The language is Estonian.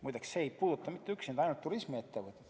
Muide, see ei puuduta üksnes turismiettevõtteid.